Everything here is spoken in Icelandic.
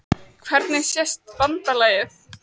Hvernig sést BANDALAGIÐ?